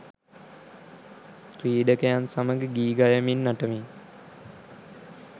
ක්‍රීඩකයන් සමග ගී ගයමින් නටමින්